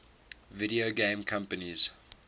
video game companies